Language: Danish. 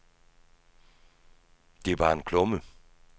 Det er bare en klumme.